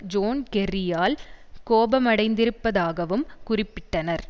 zone கெர்ரியால்கோபமடைந்திருப்பதாகவும் குறிப்பிட்டனர்